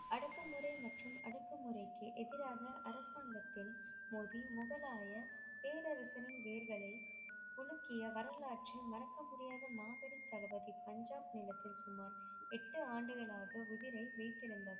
அடக்கு முறை மற்றும் அடக்கு முறைக்கு எதிராக அரசாங்கத்தில் மோதி முகலாய பேரரசனின் வேர்களை உலுக்கிய வரலாறு மறக்க முடியாத மாபெரும் தளபதி பஞ்சாப் நிலத்தில் சுமார் எட்டு ஆண்டுகளாக உயிரை வீர்றுந்தமைக்கு